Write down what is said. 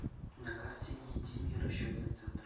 на карте единый расчетный центр